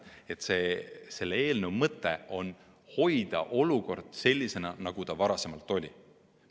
Selle eelnõu mõte on hoida olukord sellisena, nagu ta varem oli.